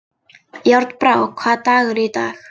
Járnbrá, hvaða dagur er í dag?